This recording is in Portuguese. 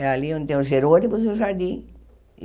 É ali onde tem o Gerônimos e o Jardim.